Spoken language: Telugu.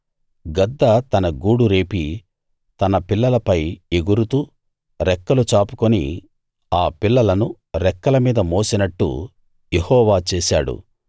గద్ద తన గూడు రేపి తన పిల్లలపై ఎగురుతూ రెక్కలు చాపుకుని ఆ పిల్లలను రెక్కల మీద మోసినట్టు యెహోవా చేశాడు